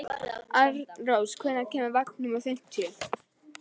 Arnrós, hvenær kemur vagn númer fimmtíu?